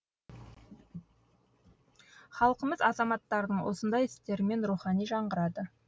халқымыз азаматтардың осындай істерімен рухани жаңғырады